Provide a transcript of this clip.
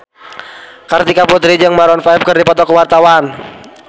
Kartika Putri jeung Maroon 5 keur dipoto ku wartawan